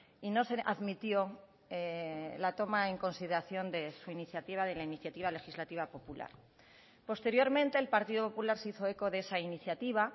y no se admitió la toma en consideración de su iniciativa de la iniciativa legislativa popular posteriormente el partido popular se hizo eco de esa iniciativa